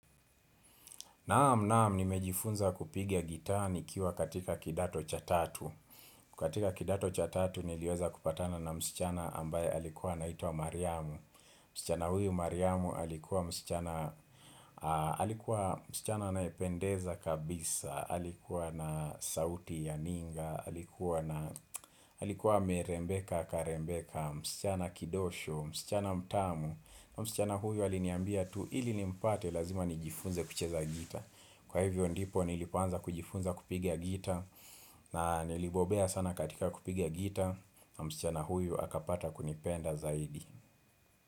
Naam naam ni mejifunza kupiga gitaa nikiwa katika kidato cha tatu katika kidato cha tatu niliweza kupatana na msichana ambaye alikuwa anaitwa Mariamu msichana huyu Mariamu alikuwa msichana aam msichana anayependeza kabisa Alikuwa na sauti ya ninga Alikuwa na alikuwa amerembeka karembeka msichana kidosho, msichana mtamu msichana huyu aliniambia tu ili nimpate lazima nijifunze kucheza gita Kwa hivyo ndipo nilipoanza kujifunza kupiga gita na nilibobea sana katika kupiga gita na msichana huyu akapata kunipenda zaidi.